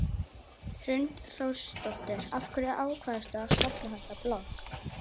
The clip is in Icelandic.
Hrund Þórsdóttir: Af hverju ákvaðstu að stofna þetta blogg?